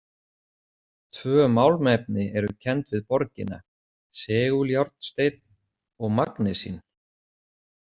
Tvö málmefni eru kenndi við borgina, seguljárnsteinn og magnesín.